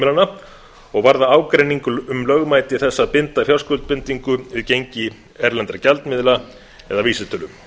heimilanna og varða ágreining um lögmæti þess að binda fjárskuldbindingu við gengi erlendra gjaldmiðla eða vísitölu